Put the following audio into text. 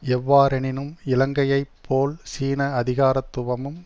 எவ்வாறெனினும் இலங்கையைப் போல் சீன அதிகாரத்துவமும்